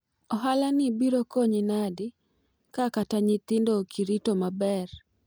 ohala ni biro konyi nadi ka kata nyithindo ok irito maber?